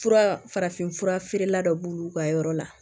Fura farafin fura feerela dɔ b'olu ka yɔrɔ la